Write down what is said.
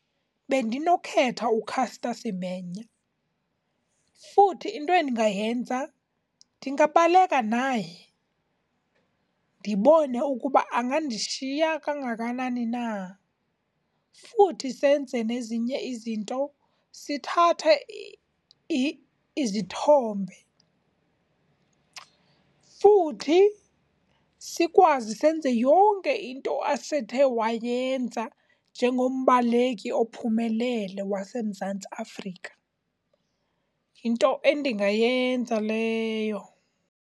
Bendinokukhetha uCaster Semenya, futhi into endingayenza ndingabaleka naye ndibone ukuba angandishiya kangakanani na. Futhi senze nezinye izinto, sithathe izithombe, futhi sikwazi senze yonke into asethe wayenza njengombaleki ophumelele waseMzantsi Afrika. Yinto endingayenza leyo.